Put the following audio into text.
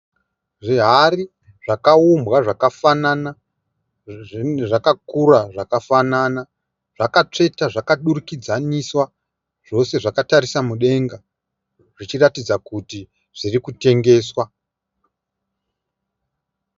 Zvihari zvakaumbwa zvakafanana, zvakakura zvakafanana zvakatsvetwa zvakadurikidzaniswa zvose zvakatarisa mudenga zvichitaridza kuti zviri kutengesewa.